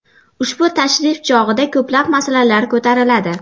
Ushbu tashrif chog‘ida ko‘plab masalalar ko‘tariladi.